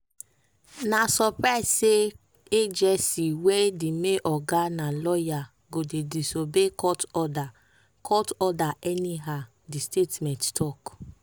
"na surprise say agency wey di main oga na lawyer go dey disobey court order court order anyhow" di statement tok.